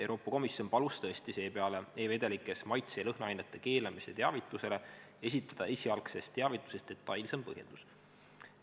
Euroopa Komisjon palus tõesti seepeale e-vedelikes maitse- ja lõhnaainete keelamise teavituses esitada esialgsest teavitusest detailsem põhjendus.